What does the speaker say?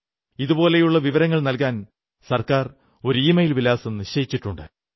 ഇതുപോലെയുള്ള വിവരങ്ങൾ നല്കാൻ സർക്കാർ ഒരു ഇമെയിൽ വിലാസം നിശ്ചയിച്ചിട്ടുണ്ട്